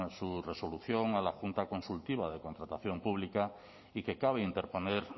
su resolución a la junta consultiva de contratación pública y que cabe interponer